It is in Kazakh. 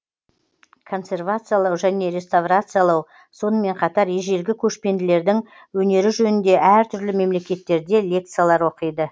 консервациялау және реставрациялау сонымен қатар ежелгі көшпенділердің өнері жөнінде әртүрлі мемлекеттерде лекциялар оқиды